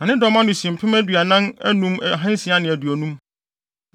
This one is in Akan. Na ne dɔm ano si mpem aduanan anum ahansia ne aduonum (45,650).